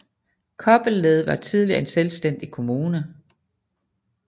Kobbelled var tidligere en selvstændig kommune